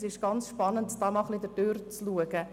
Es ist sehr spannend, sich dies einmal anzuschauen.